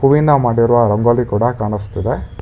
ಹೂವಿಂದ ಮಾಡಿರುವ ರಂಗೋಲಿ ಕೂಡ ಕಾಣಿಸ್ತಿದೆ.